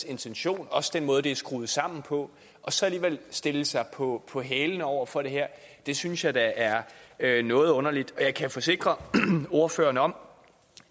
intention og også den måde det er skruet sammen på og så alligevel stille sig på på hælene over for det her det synes jeg da er er noget underligt og jeg kan forsikre ordføreren om